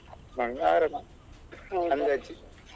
Mang~ ಆರಾಮ .